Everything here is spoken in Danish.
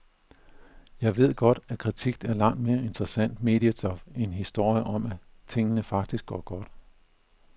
Jeg ved godt, at kritik er langt mere interessant mediestof end historier om, at tingene faktisk går ganske godt.